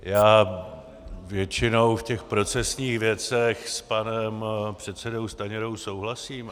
Já většinou v těch procesních věcech s panem předsedou Stanjurou souhlasím.